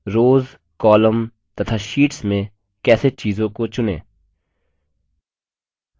rows columns तथा sheets में कैसे चीजों को चुनें